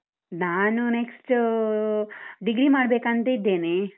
ನಾನು next uh degree ಮಾಡ್ಬೇಕಂತ ಇದ್ದೇನೆ.